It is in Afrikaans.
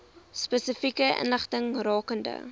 spesifieke inligting rakende